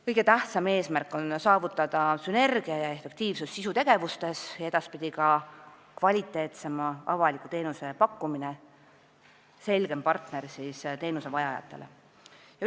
Kõige tähtsam eesmärk on saavutada sünergia ja efektiivsus sisutegevustes ja edaspidi ka kvaliteetsema avaliku teenuse pakkumine ning selgem arusaam, kes on teenuse vajajate partner.